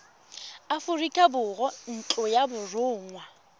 aforika borwa ntlo ya borongwa